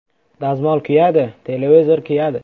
Dazmol kuyadi, televizor kuyadi”.